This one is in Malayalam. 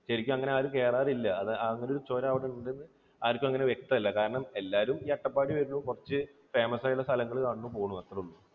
ശരിക്കും അങ്ങനെ ആരും കയറാറില്ല. അത് അങ്ങനെ ഒരു ചുരം അവിടെ ഉണ്ടെന്ന് ആർക്കും അങ്ങനെ വ്യക്തമല്ല. കാരണം, എല്ലാവരും ഈ അട്ടപ്പാടിയിൽ വരുന്നു കുറച്ച് famous ആയിട്ടുള്ള സ്ഥലങ്ങൾ കാണുന്നു പോകുന്നു അത്രയേ ഉള്ളൂ.